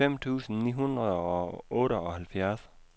fem tusind ni hundrede og otteoghalvfjerds